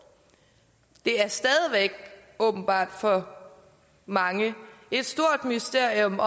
det er stadig væk åbenbart for mange et stort mysterium